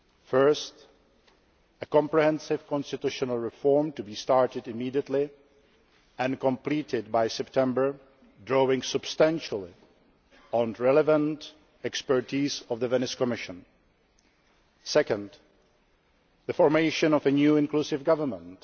First, a comprehensive constitutional reform to be started immediately and completed by September, drawing substantially on relevant expertise of the Venice Commission second, the formation of a new inclusive government